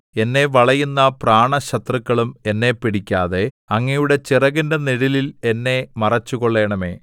എന്നെ വളയുന്ന പ്രാണശത്രുക്കളും എന്നെ പിടിക്കാതെ അങ്ങയുടെ ചിറകിന്റെ നിഴലിൽ എന്നെ മറച്ചുകൊള്ളണമേ